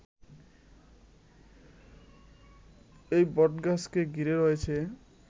এই বটগাছকে ঘিরে রয়েছে